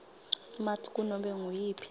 smart kunobe nguyiphi